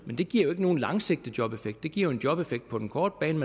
det giver jo ikke nogen langsigtet jobeffekt det giver en jobeffekt på den korte bane